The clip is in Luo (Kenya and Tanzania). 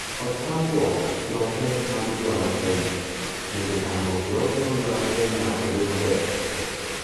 Otamruok kirope mag juala Kenya. Bende tamruok kirope mag juala Kenya odhi maber?